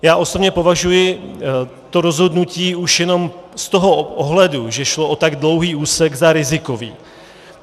Já osobně považuji to rozhodnutí už jenom z toho ohledu, že šlo o tak dlouhý úsek, za rizikové.